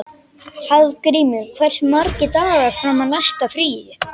Hafgrímur, hversu margir dagar fram að næsta fríi?